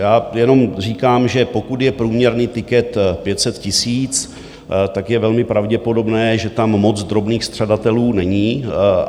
Já jenom říkám, že pokud je průměrný tiket 500 tisíc, tak je velmi pravděpodobné, že tam moc drobných střadatelů není.